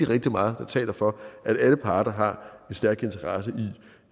rigtig meget der taler for at alle parter har en stærk interesse i